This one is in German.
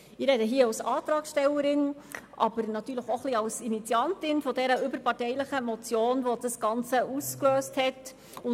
Ich spreche als Antragstellerin, aber auch als Initiantin dieser überparteilichen Motion, die das Ganze ausgelöst hat.